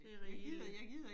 Det rigeligt